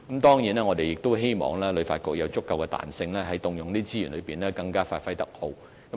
當然，我們亦希望旅發局有足夠彈性運用這些資源，以發揮更佳功效。